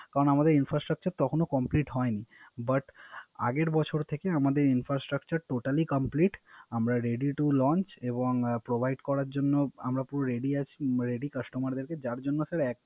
কারণ আমাদের infrastructure তখনো complete হয় নি But আগের বছর থেকে আমাদের infrastructure totally complete আমরা Ready to lonse এবং Provide করার জন্য আমরা Rady Customer দেরকে